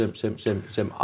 sem sem sem